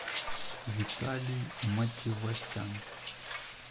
виталий матевосян